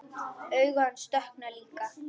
Augu hans dökkna líka.